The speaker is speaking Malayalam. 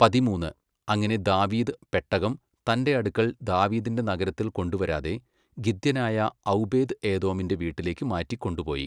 പതിമൂന്ന്, അങ്ങനെ ദാവീദ് പെട്ടകം തന്റെ അടുക്കൽ ദാവീദിന്റെ നഗരത്തിൽ കൊണ്ടുവരാതെ ഗിത്യനായ ഔബേദ് എദോമിന്റെ വീട്ടിലേക്കു മാറ്റി കൊണ്ടുപോയി.